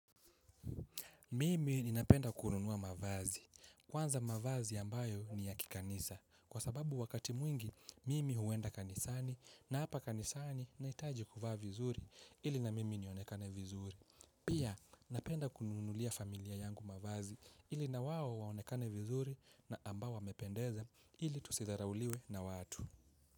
Mimi ninapenda kununua mavazi. Kwanza mavazi ambayo ni ya kikanisa. Kwa sababu wakati mwingi, mimi huwenda kanisani na hapa kanisani nahitaji kuvaa vizuri ili na mimi nionekane vizuri. Pia, napenda kununulia familia yangu mavazi ili na wao waonekane vizuri na ambao wamependeza ili tusidharauliwe na watu.